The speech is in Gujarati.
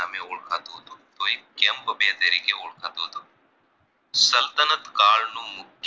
કાળ નું મુ